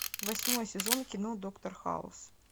восьмой сезон кино доктор хаус